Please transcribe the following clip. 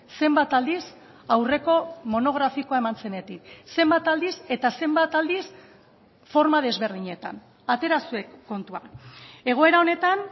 zenbat aldiz aurreko monografikoa eman zenetik zenbat aldiz eta zenbat aldiz forma desberdinetan atera zuek kontua egoera honetan